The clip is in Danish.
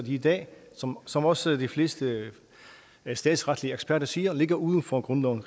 i dag som som også de fleste statsretseksperter siger ligger uden for grundloven